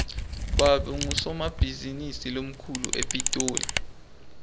babe ngusomabhizinisi lomkhulu epitoli